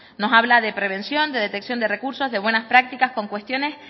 nos habla de prevención de detección de recursos de buenas prácticas de cuestiones